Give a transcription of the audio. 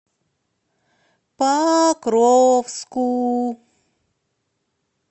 покровску